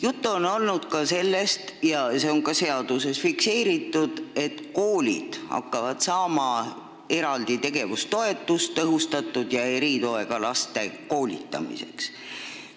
Juttu on olnud veel sellest – ja see on ka seaduses fikseeritud –, et koolid hakkavad saama eraldi tegevustoetust tõhustatud ja eritoega laste koolitamiseks.